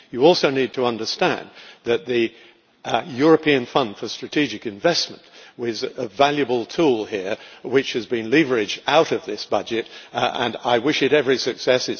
You also need to understand that the European Fund for strategic investment is a valuable tool here which has been leveraged out of this budget, and I wish it every success.